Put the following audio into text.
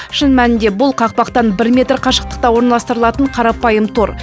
шын мәнінде бұл қақпақтан бір метр қашықтықта орналастырылатын қарапайым тор